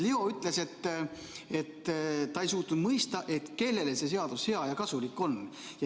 Leo ütles, et ta ei suutnud mõista, kellele see seadus hea ja kasulik on.